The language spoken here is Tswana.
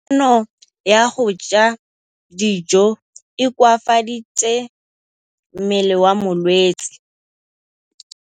Kganô ya go ja dijo e koafaditse mmele wa molwetse.